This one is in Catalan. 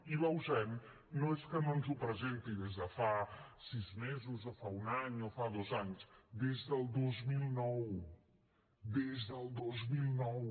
i bausen no és que no ens ho presenti des de fa sis mesos o fa un any o fa dos anys des del dos mil nou des del dos mil nou